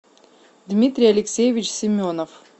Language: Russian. дмитрий алексеевич семенов